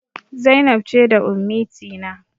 Zainab ce da Ummitina.